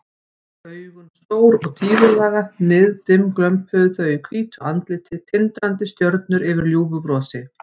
Augun stór og tígullaga, niðdimm glömpuðu þau í hvítu andliti, tindrandi stjörnur yfir ljúfu brosi.